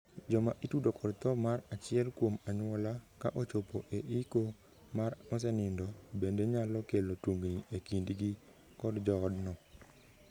Joma itudo kod thoo mar achiel kuom anyuola, ka ochopo e iko mar mosenindo, bende nyalo kelo tungni e kindgi kod joodno.